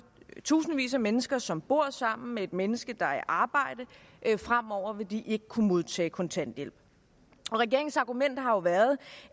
tusindvis af mennesker som bor sammen med et menneske der er i arbejde fremover vil de ikke kunne modtage kontanthjælp regeringens argument har jo været